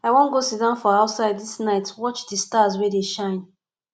i wan go siddon for outside dis night watch di stars wey dey shine